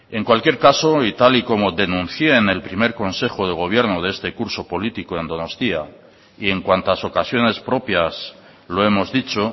en cualquier caso y tal y como denuncié en el primer consejo de gobierno de este curso político en donostia y en cuantas ocasiones propias lo hemos dicho